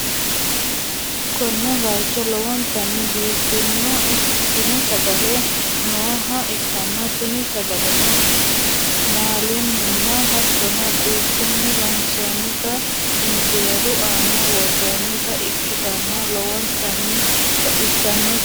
konne bayicho lowontanni biifado ikkitino sagale nooha ikkanna, tini sagaleno maalunninna hattono quuphunni loonsoonnita injeeru aana worroonnita ikkitanna, lowontanni baxissannote.